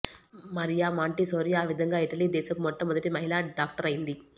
Mariya Montessori ఆ విధంగా Italy దేశపు మొట్ట మొదటి మహిళా డాక్టరైంది